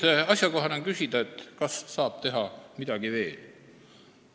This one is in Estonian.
Kuid asjakohane on küsida, kas saab midagi veel teha.